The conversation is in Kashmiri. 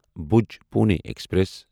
بھوج پُوٗنے ایکسپریس